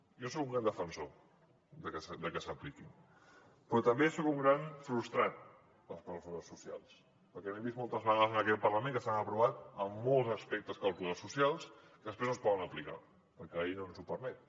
jo soc un gran defensor de que s’apliquin però també soc un gran frustrat de les clàusules socials perquè hem vist moltes vegades en aquest parlament que s’han aprovat molts aspectes de les clàusules socials que després no es poden aplicar perquè la llei no ens ho permet